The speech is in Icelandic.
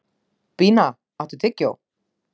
Bína, áttu tyggjó?